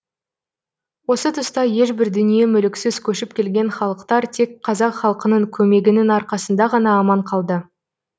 осы тұста ешбір дүние мүліксіз көшіп келген халықтар тек қазақ халқының көмегінің арқасында ғана аман қалды